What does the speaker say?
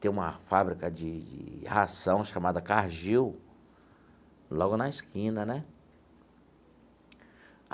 tem uma fábrica de de ração chamada Cargill logo na esquina né.